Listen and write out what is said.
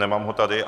Nemám ho tady.